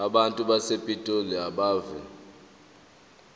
abantu basepitoli abeve